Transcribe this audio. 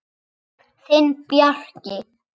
Þinn, Bjarki.